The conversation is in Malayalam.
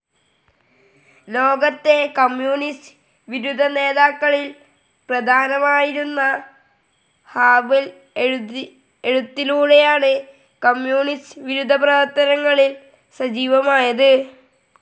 ലോകത്തെ കമ്മ്യൂണിസ്റ്റ്‌ വിരുദ്ധ നേതാക്കളിൽ പ്രധാനിയായിരുന്ന ഹാവെൽ എഴുത്തിലൂടെയാണ് കമ്മ്യൂണിസ്റ്റ്‌ വിരുദ്ധ പ്രവർത്തനങ്ങളിൽ സജീവമായത്.